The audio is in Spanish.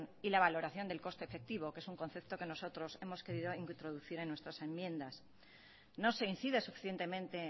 y la valoración del coste efectivo que es un concepto que nosotros hemos querido introducir en nuestras enmiendas no se incide suficientemente